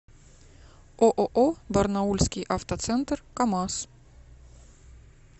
ооо барнаульский автоцентр камаз